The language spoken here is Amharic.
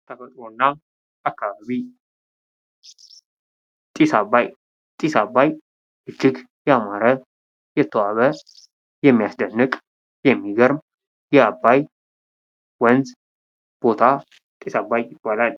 ተፈጥሮ እና አካባቢ ጢስ ዓባይ :- ጢስ ዓባይ እጅግ ያማረ፣ የተዋበ፣ የሚያስደንቅ፣ የሚገርም የዓባይ ወንዝ ቦታ ጢስ ዓባይ ይባላል።